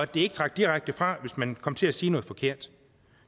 det ikke trak direkte fra hvis man kom til at sige noget forkert